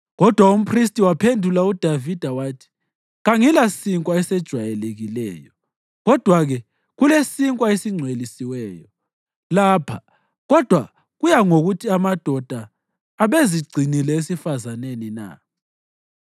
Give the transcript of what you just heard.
Kodwa umphristi waphendula uDavida wathi, “Kangilasinkwa esejwayelekileyo; kodwa-ke kulesinkwa esingcwelisiweyo lapha kodwa kuya ngokuthi amadoda abezigcinile esifazaneni na.”